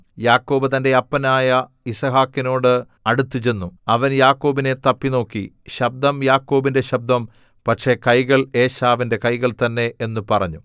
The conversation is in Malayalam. യാക്കോബ് തന്റെ അപ്പനായ യിസ്ഹാക്കിനോട് അടുത്തുചെന്നു അവൻ യാക്കോബിനെ തപ്പിനോക്കി ശബ്ദം യാക്കോബിന്റെ ശബ്ദം പക്ഷേ കൈകൾ ഏശാവിന്റെ കൈകൾ തന്നെ എന്നു പറഞ്ഞു